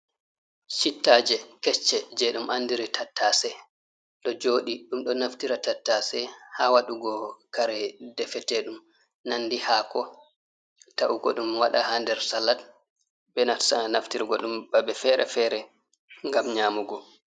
Chittaje kecche je ɗum andiri tattase ɗo joɗi, ɗum ɗo naftira tattase ha waɗugo kare ɗefeteɗum nandi hako, ta’ugo ɗum waɗa ha nder salat, be nata naftirgo ɗum babe fere-fere gam nyamugo.